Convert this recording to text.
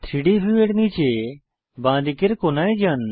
3ডি ভিউয়ের নীচে বাঁদিকের কোণায় যান